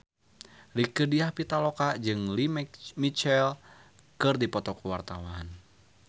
Rieke Diah Pitaloka jeung Lea Michele keur dipoto ku wartawan